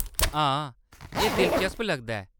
हां, एह्‌‌ दिलचस्प लगदा ऐ !